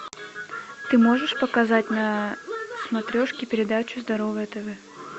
ты можешь показать на смотрешке передачу здоровое тв